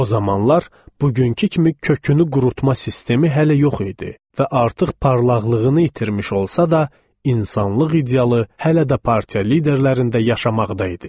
O zamanlar bugünkü kimi kökünü qurutma sistemi hələ yox idi və artıq parlaqlığını itirmiş olsa da, insanlıq idealı hələ də partiya liderlərində yaşamaqda idi.